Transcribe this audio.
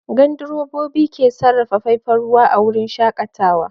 Gandrobobi ke sarrafa faifan ruwa a wurin shakatawa?